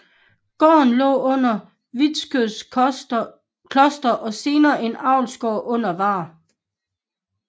Gården lå under Vitskøl Kloster og senere en avlsgård under Vaar